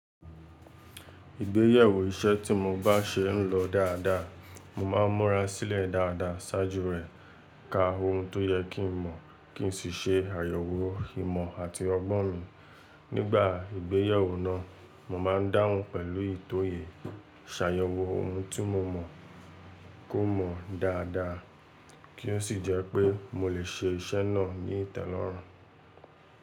Ìgbéyewó iṣẹ́ tí mo bá ṣe ń lọ dáadáa, mo máa ń múra sílẹ̀ dáadáa ṣáájú rẹ̀ ka ohun tó yẹ kí n mọ̀ kí n sì ṣe àyẹ̀wò ìmọ̀ àti ọgbọ́n mi. Nígbà ìgbéyewó náà, mo máa ń dáhùn pẹ̀lú ìtòyè, ṣàyẹ̀wò ohun tí mo mọ̀ kó mọ dáadáa kí ó sì jẹ́ pé mo lè ṣe iṣẹ́ náà ní ìtẹ́lọ́rùn.